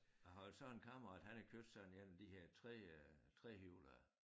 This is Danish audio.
Jeg har så en kammerat han har købt sådan en af de her 3 øh trehjulede